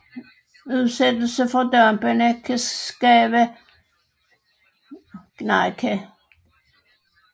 Udsættelse for dampene kan skabe irritation i øjne og luftveje